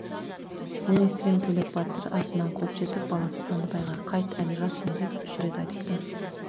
мұны естіген төлек батыр артынан қуып жетіп баласы сандыбайға қайт әлі жассың деп үш рет айтыпты